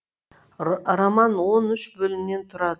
роман он үш бөлімнен тұрады